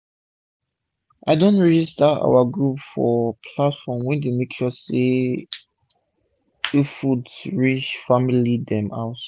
i don register our group for one platform wey dey make sure say farm food reach family dem house um